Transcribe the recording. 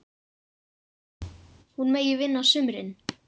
Hún megi vinna á sumrin.